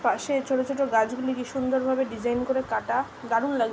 পাশে ছোট ছোট গাছগুলি কি সুন্দর ভাবে ডিজাইন করে কাটা দারুন লাগ --